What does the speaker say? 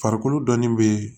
Farikolo dɔnni bee